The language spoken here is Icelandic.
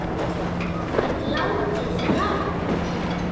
Það var látið ráða.